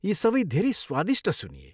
यी सबै धेरै स्वादिष्ट सुनिए।